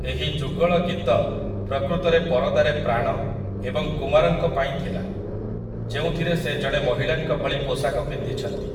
ଏହି ଯୁଗଳ ଗୀତ ପ୍ରକୃତରେ ପରଦାରେ ପ୍ରାଣ ଏବଂ କୁମାରଙ୍କ ପାଇଁ ଥିଲା, ଯେଉଁଥିରେ ସେ ଜଣେ ମହିଳାଙ୍କ ଭଳି ପୋଷାକ ପିନ୍ଧିଛନ୍ତି ।